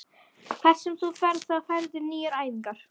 Hvert sem þú ferð þá færðu nýjar æfingar.